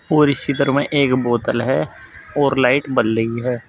और इस चित्र में एक बोतल है और लाइट बल रही है।